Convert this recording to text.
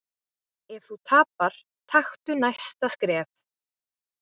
Ef þú tapar, taktu næsta skref.